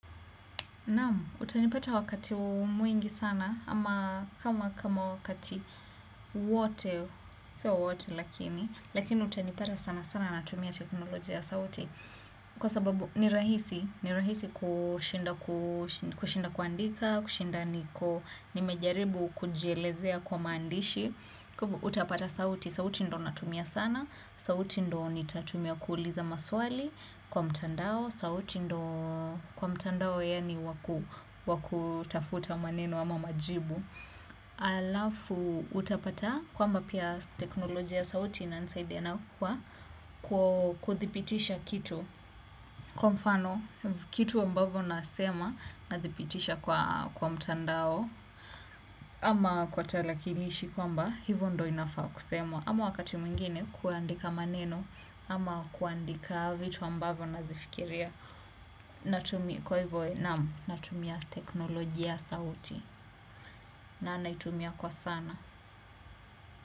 Naam, utanipata wakati mwingi sana, ama kama kama wakati wote, sio wote lakini, lakini utanipata sana sana natumia teknolojia ya sauti, kwa sababu ni rahisi, ni rahisi kushinda kuandika, kushinda niko, nimejaribu kujielezea kwa mandishi, kwa hivyo utapata sauti, sauti ndio natumia sana, sauti ndio nitatumia kuuliza maswali kwa mtandao, sauti ndio, kwa mtandao yaani wa kutafuta maneno ama majibu halafu utapata kwamba pia teknolojia ya sauti inanisaidia na kwa kuthibitisha kitu kwa mfano kitu ambavyo nasema nathibitisha kwa kwa mtandao ama kwa talakilishi kwamba hivyo ndio inafaa kusemwa. Ama wakati mwingine kuandika maneno ama kuandika vitu ambavyo nazifikiria. Kwa hivyo naam, natumia teknolojia ya sauti na naitumia kwa sana.